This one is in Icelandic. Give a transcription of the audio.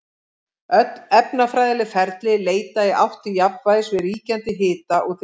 Öll efnafræðileg ferli leita í átt til jafnvægis við ríkjandi hita og þrýsting.